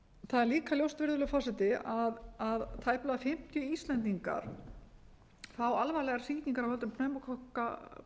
er líka ljóst virðulegur forseti að tæplega fimmtíu íslendingar fá alvarlegar sýkingar af völdum pneumókokka